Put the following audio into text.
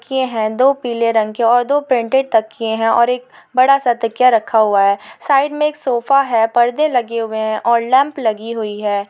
तकिये हैं दो पीले रंग के और दो प्रिंटेड तकिये हैं और एक बड़ा सा तकिया रखा हुआ है। साइड में एक सोफा है पर्दे लगे हुए हैं और लैप लगी हुई है।